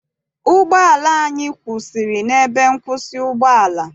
Ụgbọala anyị kwụsịrị n'ebe nkwụsị ụgbọala.